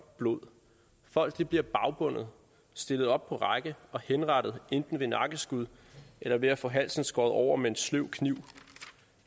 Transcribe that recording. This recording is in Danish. blod folk bliver bagbundet stillet op på række og henrettet enten med nakkeskud eller ved at få halsen skåret over med en sløv kniv